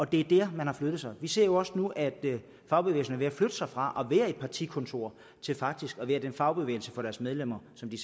det er der man har flyttet sig vi ser jo også nu at fagbevægelsen er ved at flytte sig fra at være et partikontor til faktisk at være den fagbevægelse for deres medlemmer som de